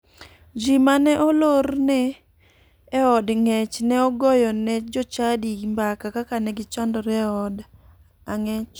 Ji mane olorne e od ng'ech ne ogoyo ne jochadi mbaka kaka ne gichandore e od ang'ech.